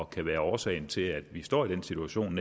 kan være årsagen til at vi netop står i den situation